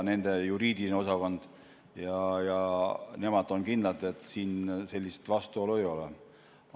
Nende juriidiline osakond ja nemad on kindlad, et siin mingit sellist vastuolu ei ole.